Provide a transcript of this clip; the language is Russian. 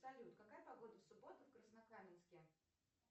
салют какая погода в субботу в краснокаменске